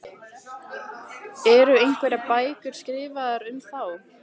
Eru einhverjar bækur skrifaðar um þá?